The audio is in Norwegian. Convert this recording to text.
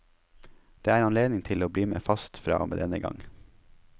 Det er anledning til å bli med fast fra og med denne gang.